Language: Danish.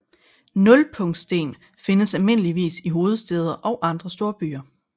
Nulpunktssten findes almindeligvis i hovedstæder og andre storbyer